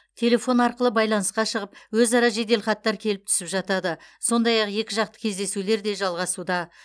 телефон арқылы байланысқа шығып өзара жеделхаттар келіп түсіп жатады сондай ақ екіжақты кездесулер де жалғасуда